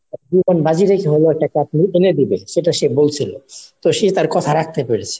জীবন বাজি রেখে হলেও সে একটা cup এনে দিবে সেটা সে বলছিলো. তো সে তার কথা রাখতে পেরেছে.